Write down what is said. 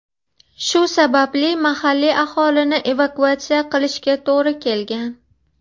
Shu sababli mahalliy aholini evakuatsiya qilishga to‘g‘ri kelgan.